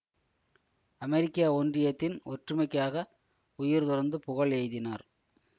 அமெரிக்க ஒன்றியத்தின் ஒற்றுமைக்காக உயிர் துறந்து புகழ் எய்தினார்